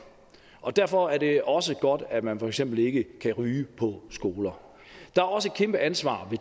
og derfor er det også godt at man for eksempel ikke kan ryge på skoler der er også et kæmpe ansvar